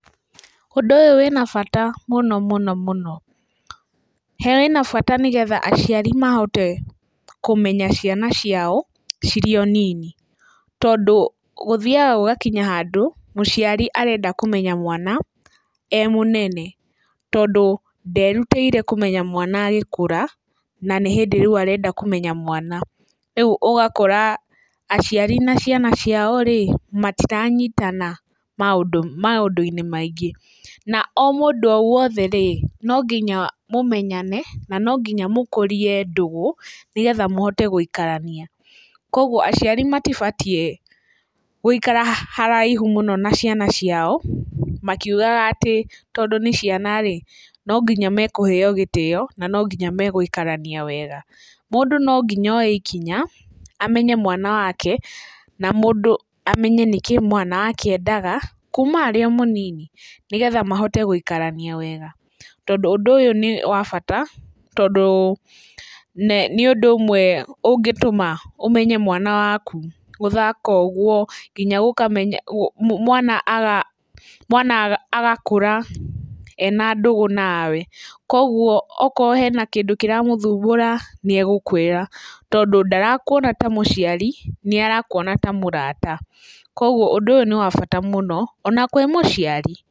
Ũndũ ũyũ wĩna bata mũno mũno mũno, wĩna bata nĩgetha aciari mahote kũmenya ciana ciao cirĩ o nini, tondũ gũthiaga gũgakinya handũ mũciarĩ arenda kũmenya mwana e mũnene, tondũ nderutĩire kũmenya mwana agĩkũra na nĩ hĩndĩ rĩu arenda kũmenya mwana. Rĩu ũgakora aciari na ciana ciao-rĩ, citiranyitana maũndũ-inĩ maingĩ, na o mũndũ o wothe-rĩ, no nginya mũmenyane na no nginya mũkũrie ndũgũ, nĩgetha mũhote gũikarania. Koguo aciari matibatiĩ gũikara haraihu mũno na ciana ciao makiugaga atĩ tondũ nĩ ciana -rĩ, no nginya mekũheyo gĩtĩyo na no nginya megũikarania wega. Mũndũ no nginya oye ikinya amenye mwana wake na mũndũ amenye nĩkĩĩ mwana wake endaga kuma arĩ o mũnini, nĩgetha mahote gũigarania wega tondũ ũndũ ũyũ nĩ wa bata tondũ nĩ ũndũ ũmwe ũngĩtũma ũmenye mwana waku, gũthaka ũguo, nginya mwana agakũra ena ndũgũ nawe, koguo okorwo he kĩndũ kĩramũthumbũra nĩ egũkwĩra, tondũ ndarakuona ta mũciari, nĩ arakuona ta mũrata. Koguo ũndũ ũyũ nĩ wa bata mũno ona kwĩ mũciari.